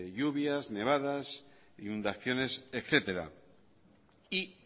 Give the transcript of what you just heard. lluvias nevadas inundaciones etcétera y